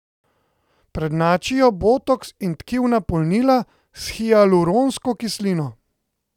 Prednjačijo botoks in tkivna polnila s hialuronsko kislino.